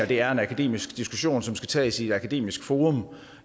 det er en akademisk diskussion som skal tages i et akademisk forum